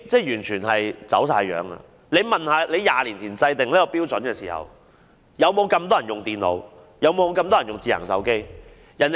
局長試想一下 ，20 年前制訂這些標準時，是否有這麼多人使用電腦和智能手機？